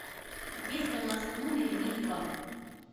есть ли у нас в номере мини бар